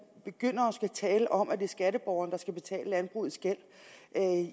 begynder at tale om at det er skatteborgeren der skal betale landbrugets gæld